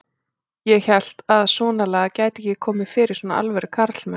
Ég hélt að svonalagað gæti ekki komið fyrir svona alvöru karlmenn.